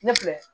Ne filɛ